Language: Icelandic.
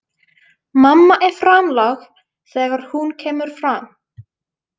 Mamma er framlág þegar hún kemur fram.